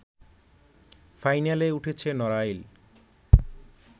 ফাইনালে উঠেছে নড়াইল